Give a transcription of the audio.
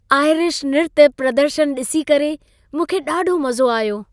Irish नृत्य प्रदर्शन ॾिसी करे मूंखे ॾाढो मज़ो आयो।